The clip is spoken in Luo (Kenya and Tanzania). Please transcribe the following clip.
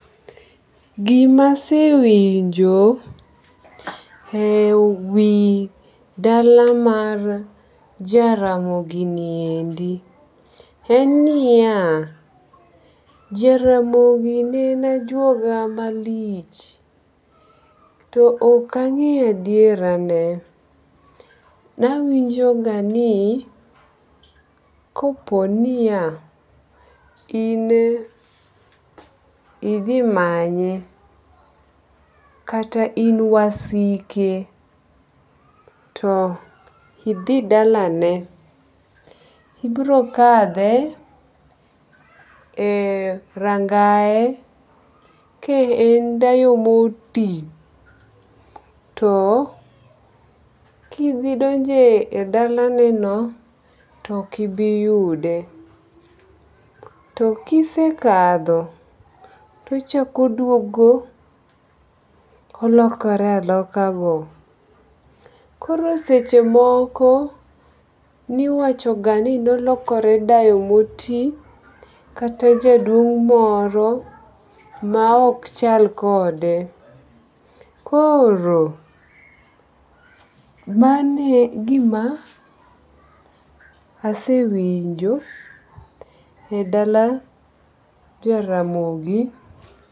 Gimasewinjo e wi dala mar Jaramogi niendi en niya, Jaramogi ne en ajuoga malich. To ok ang'eyo adiera ne. Nawinjo ga ni kopo niya in idhi manye kata in wasike to idhi dalane ibiro kadhe e rangae ka en dayo moti to kidhi donje e dala ne no to ok ibi yude. To kisekadho tochako duogo olokore oloka go. Koro seche moko niwacho ga ni nolokore dayo moti kata jaduong' moro ma ok chal kode. Koro mane gima asewinjo e dala Jaramogi.